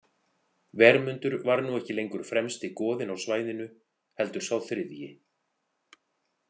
Vermundur var nú ekki lengur fremsti goðinn á svæðinu heldur sá þriðji.